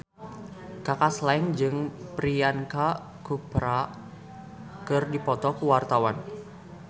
Kaka Slank jeung Priyanka Chopra keur dipoto ku wartawan